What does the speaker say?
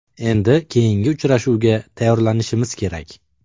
Endi keyingi uchrashuvga tayyorlanishimiz kerak.